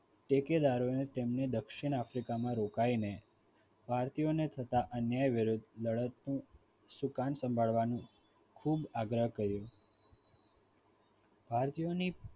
ઠેકેદારોએ તેમને દક્ષિણ africa માં રોકાઈને ભારતીય ને થતા અન્યાય વિરુદ્ધ લડતનું સુકાન સંભાળવાનું ખૂબ આગ્રહ કર્યો ભારતીય યોની